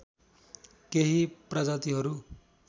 केही प्रजातिहरू